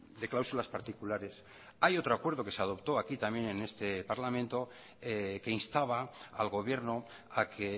de cláusulas particulares hay otro acuerdo que se adoptó aquí también en este parlamento que instaba al gobierno a que